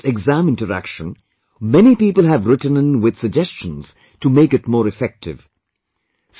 After the last exam interaction, many people have written in with suggestions to make it more effective